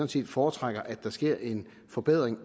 set foretrækker at der sker en forbedring